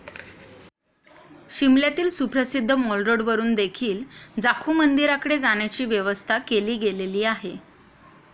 शिमल्यातील सुप्रसिद्ध mall road वरुन देखील जाखू मंदिराकडे जाण्याची व्यवस्था केली गेलेली आहे.